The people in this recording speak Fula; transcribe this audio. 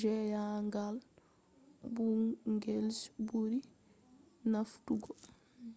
jahangal budget je buri famdugo